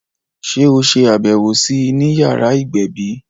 Sé o ṣe àbẹwò sí I ni yàrá ìgbẹ̀bí?